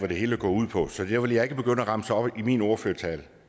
det hele går ud på så det vil jeg ikke begynde at remse op i min ordførertale